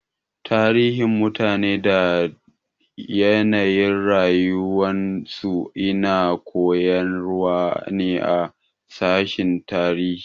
Tarihin mutane da da yanayin rayuwar su ina koyarwa ne a sashin tarihi